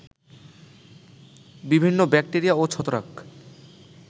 বিভিন্ন ব্যাক্টেরিয়া ও ছত্রাক